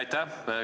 Aitäh!